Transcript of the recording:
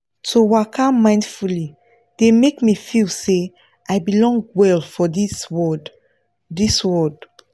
to waka mindfully dey make me feel say i belong well for this world this world